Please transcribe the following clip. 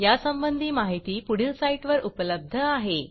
यासंबंधी माहिती पुढील साईटवर उपलब्ध आहे